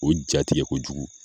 O jatigɛ kojugu